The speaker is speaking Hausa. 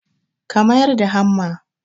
ka mayar da hamma